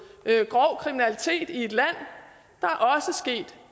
grov kriminalitet i et land